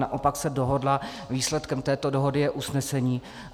Naopak se dohodla, výsledkem této dohody je usnesení.